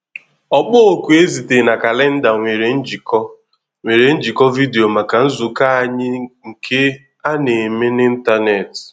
Ọkpọ oku e zitere na kalenda nwere njikọ nwere njikọ vidio maka nzukọ anyị nke a na-eme n’ịntanetị.